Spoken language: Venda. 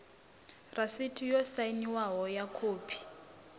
rasiti yo sainwaho ya khophi